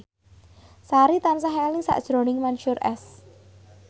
Sari tansah eling sakjroning Mansyur S